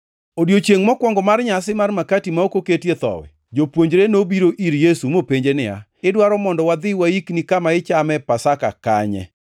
Odiechiengʼ mokwongo mar nyasi mar makati ma ok oketie Thowi, jopuonjre nobiro ir Yesu mopenje niya, “Idwaro mondo wadhi waikni kama ichame Pasaka kanye?”